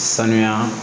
Sanuya